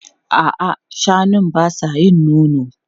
A'a, shanun ba sa yin nono.